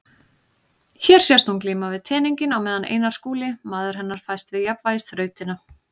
Hér sést hún glíma við teninginn á meðan Einar Skúli, maður hennar, fæst við jafnvægisþrautina.